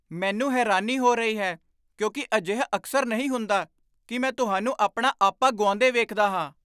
ਮੈਨੂੰ ਹੈਰਾਨੀ ਹੋ ਰਹੀ ਹੈ ਕਿਉਂਕਿ ਅਜਿਹਾ ਅਕਸਰ ਨਹੀਂ ਹੁੰਦਾ ਕਿ ਮੈਂ ਤੁਹਾਨੂੰ ਆਪਣਾ ਆਪਾ ਗੁਆਉਂਦੇ ਵੇਖਦਾ ਹਾਂ।